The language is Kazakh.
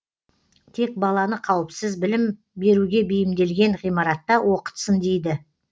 тек баланы қауіпсіз білім беруге бейімделген ғимаратта оқытсын дейді